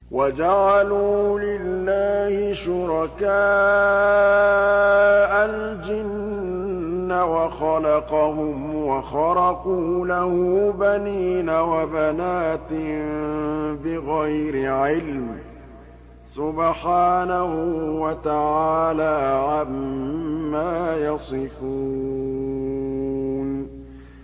وَجَعَلُوا لِلَّهِ شُرَكَاءَ الْجِنَّ وَخَلَقَهُمْ ۖ وَخَرَقُوا لَهُ بَنِينَ وَبَنَاتٍ بِغَيْرِ عِلْمٍ ۚ سُبْحَانَهُ وَتَعَالَىٰ عَمَّا يَصِفُونَ